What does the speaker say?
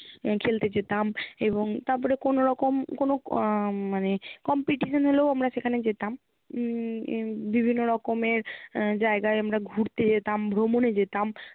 খেলতে যেতাম এবং তারপরে কোনো রকম কোনো আহ মানে competition হলেও আমরা সেখানে যেতাম। উম হম বিভিন্ন রকমের আহ জায়গায় আমরা ঘুরতে যেতাম ভ্রমণে যেতাম